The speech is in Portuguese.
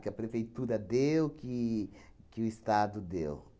Que a prefeitura deu, que que o Estado deu.